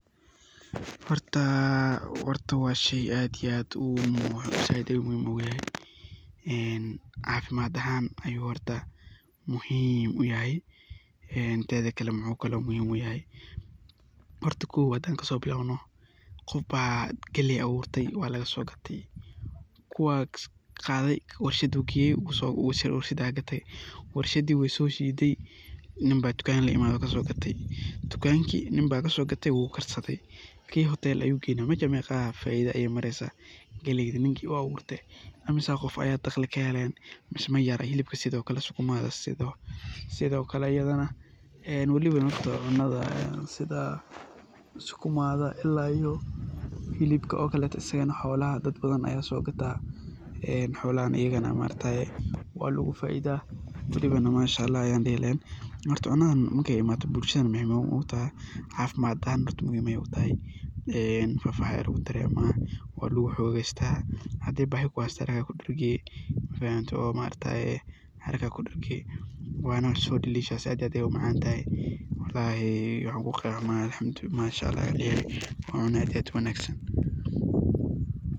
Horta waa shey aad iyo aad u muhimsan. Cafimaad ahan ayu aad ugu muhim san yahay ,teda kale muxuu kalo muhim u yahay kow, hadan kaso bilawno, qofba galley aburte ,kuwa kaso qadey oo warshad qeye warshadi uu shuday sii ibiyey dukan, dukanki ninba kaso gateey wuu karsadey , kii hotel ayuu geynaya mesha meqo faido ayey maresa ,dagli badan ayey kahelen ,sidokale xilibka iyo sukumada waliba okaleto dad badan ayaa sogataan ,xolahan iyagana maaragtaye waa lagu faidaa Mashaa ALLAH ayan dihi lahen waliba ,maaragte cunadan markey imado bulsha ayey muhim u tahaa .Muhim ayey tahay oo lafaha ayaa lagu daraa oo waa lagu xogeysta ,hadey bahii kuheyso adiga kudargi oo mafahante oo haraka aad kudarge waana so delicious aad iyo aad ayey u macan tahay ,walahi waxan ku qimeynaya waa cuno aad iyo aad u wanagsan .